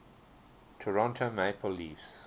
toronto maple leafs